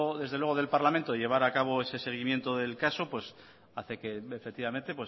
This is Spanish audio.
desde luego del parlamento de llevar a cabo ese seguimiento del caso pues hace que efectivamente